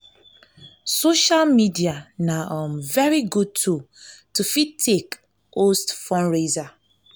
social media na um very good tool to fit take host fundraiser